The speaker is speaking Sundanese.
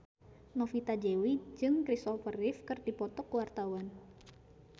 Novita Dewi jeung Kristopher Reeve keur dipoto ku wartawan